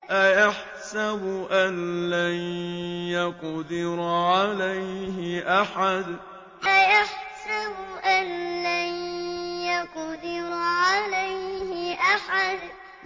أَيَحْسَبُ أَن لَّن يَقْدِرَ عَلَيْهِ أَحَدٌ أَيَحْسَبُ أَن لَّن يَقْدِرَ عَلَيْهِ أَحَدٌ